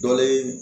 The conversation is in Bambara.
Dɔ le ye